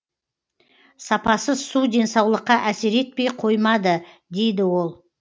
сапасыз су денсаулыққа әсер етпей қоймады дейді ол